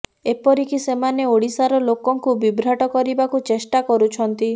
ଏପରିକି ସେମାନେ ଓଡ଼ିଶାର ଲୋକଙ୍କୁ ବିଭ୍ରାଟ୍ କରିବାକୁ ଚେଷ୍ଟା କରୁଛନ୍ତି